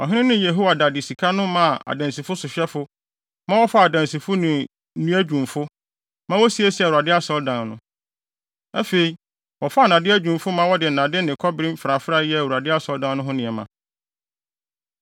Ɔhene no ne Yehoiada de sika no maa adansi sohwɛfo, ma wɔfaa adansifo ne nnua dwumfo, ma wosiesiee Awurade Asɔredan no. Afei, wɔfaa nnade adwumfo ma wɔde nnade ne kɔbere mfrafrae yɛɛ Awurade Asɔredan no ho nneɛma.